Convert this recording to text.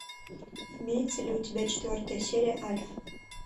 имеется ли у тебя четвертая серия альф